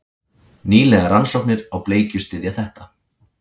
Nýlegar rannsóknir á bleikju styðja þetta.